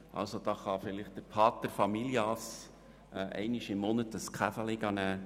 Das ermöglicht vielleicht dem Paterfamilias, einmal im Monat einen Kaffee trinken zu gehen.